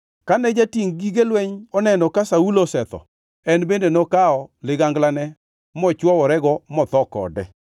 Kane jatingʼ gige lweny oneno ka Saulo osetho en bende nokawo liganglane mochwoworego motho kode.